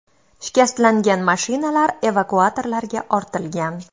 Shikastlangan mashinalar evakuatorlarga ortilgan.